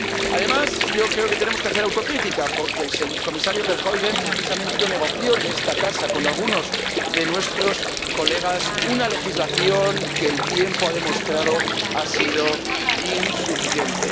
Además, yo creo que tenemos que hacer autocrítica, porque el comisario Verheugen precisamente negoció en esta casa, con algunos de nuestros colegas, una legislación que, como el tiempo ha demostrado, ha sido insuficiente.